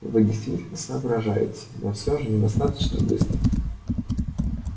вы действительно соображаете но все же недостаточно быстро